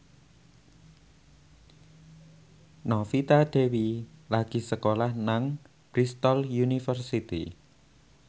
Novita Dewi lagi sekolah nang Bristol university